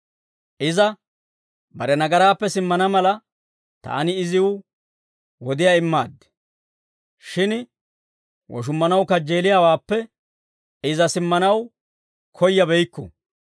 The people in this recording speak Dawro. Iza bare nagaraappe simmana mala, taani iziw wodiyaa immaaddi; shin woshummanaw kajjeeliyaawaappe iza simmanaw koyyabeykku.